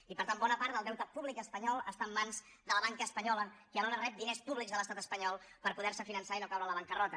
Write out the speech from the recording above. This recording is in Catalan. i per tant bona part del deute públic espanyol està en mans de la banca espanyola i alhora rep diners públics de l’estat espanyol per poder se finançar i no caure en la bancarrota